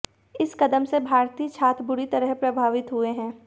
इस कदम से भारतीय छात्र बुरी तरह प्रभावित हुए हैं